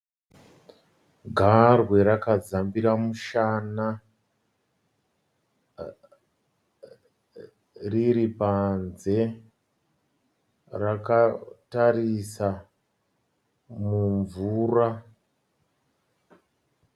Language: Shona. Garwe rakadzambira mushana riripanze. Rakatarisa mumvura.